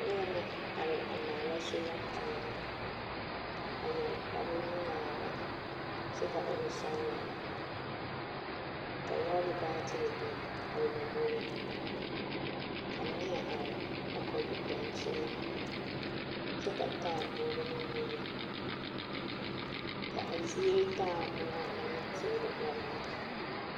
Neɛ la are a maala sola panɛl a yɛre kparnuŋmaara kyɛ ka o e sɔɔlaa ka lɔɔre baatere biŋ a o lomboriŋ ka neɛ arekɔɡe daŋkyini kyɛ ka taaboore meŋ bebe ka a zie taa moɔ ane teere yaɡa lɛ.